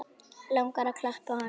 Langar að klappa honum.